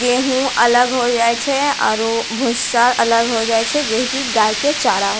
गेहू अलग होय जाये छे आरू भुस्सा अलग होय जाये छे जेह की गाय के चारा --